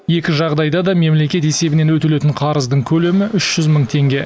екі жағдайда да мемлекет есебінен өтелетін қарыздың көлемі үш жүз мың теңге